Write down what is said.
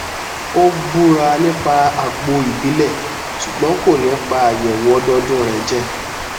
ó búra nípa àgbo ìbílẹ ṣùgbọn kò ní pa àyẹwò ọdọọdún rẹ jẹ